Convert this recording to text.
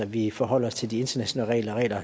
vi forholder os til de internationale regler